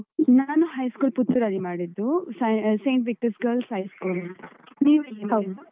ನಾನು high school ಪುತ್ತೂರಲ್ಲಿ ಮಾಡಿದ್ದು. St, Victors Girls High School ಅಂತ . ನೀವು ಎಲ್ಲಿ ಮಾಡಿದ್ದು?